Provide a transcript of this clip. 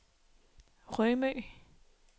Rømø